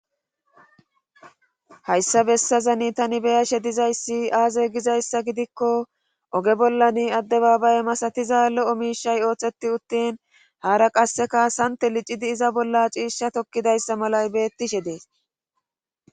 hayyssa bessazani tani be7ashe dizay aaze gizayssa gidikko oge bollani addebabaye masatiza l7o miishay oootheti uttin haara qasseka sante lcidi iza bolla ciisha tokkida dizayssa malay beetishe dees.